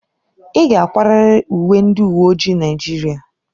Ị ga-akwarịrị uwe ndị uwe ojii Naijiria!